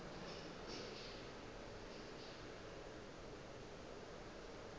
ge go le bjalo a